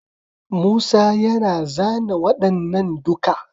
Musa yana zana waɗannan duka.